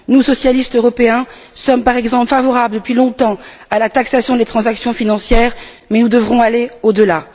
Nous, socialistes européens, sommes par exemple favorables depuis longtemps à la taxation des transactions financières mais nous devrons aller au delà.